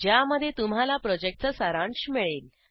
ज्यामध्ये तुम्हाला प्रॉजेक्टचा सारांश मिळेल